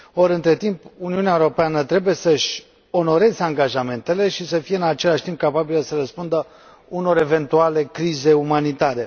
Ori, între timp, Uniunea Europeană trebuie să și onoreze angajamentele și să fie în același timp capabilă să răspundă unor eventuale crize umanitare.